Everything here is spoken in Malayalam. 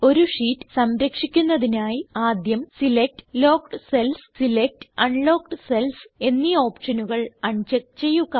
ഒരു ഷീറ്റ് സംരക്ഷിക്കുന്നതിനായി ആദ്യം select locked cells select unlocked cells എന്നീ ഓപ്ഷനുകൾ അൺ ചെക്ക് ചെയ്യുക